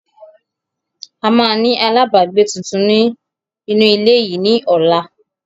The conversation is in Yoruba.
A máa ni àlábagbé tuntun ni inu ile yìí ni ọ̀la